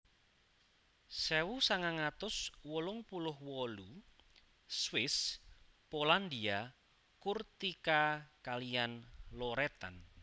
Sewu sangang atus wolung puluh wolu Swiss Polandia Kurtyka kaliyan Loretan